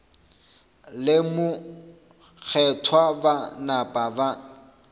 le mokgethwa ba napa ba